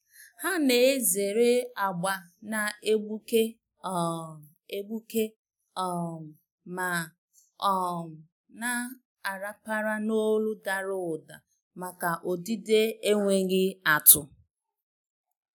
Há nà-èzèrè agba nà-égbùké um égbùké um ma um nà-àràpàrà n’ólù dàrà ụ́dà màkà ọdịdị énwéghị́ átụ́.